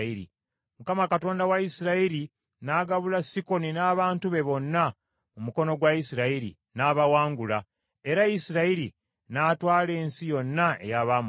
“‘ Mukama Katonda wa Isirayiri n’agabula Sikoni n’abantu be bonna mu mukono gwa Isirayiri, n’abawangula, era Isirayiri n’atwala ensi yonna ey’Abamoli.